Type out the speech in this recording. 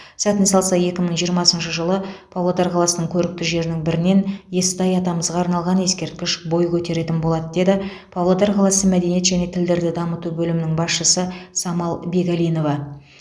сәтін салса екі мың жиырмасыншы жылы павлодар қаласының көрікті жерінің бірінен естай атамызға арналған ескерткіш бой көтеретін болады деді павлодар қаласы мәдениет және тілдерді дамыту бөлімінің басшысы самал бегалинова